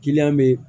Kiliyan bɛ yen